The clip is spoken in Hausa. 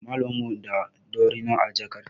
Malamar mu na da dorina a jakar ta.